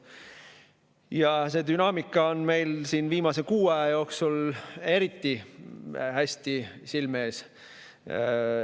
Ja see dünaamika on meil viimase kuu aja jooksul eriti hästi silme ees olnud.